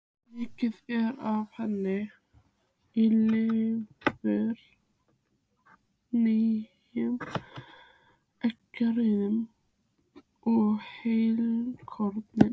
Mikið er af henni í lifur, nýrum, eggjarauðu og heilkorni.